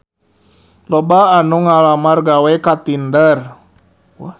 Loba anu ngalamar gawe ka Tinder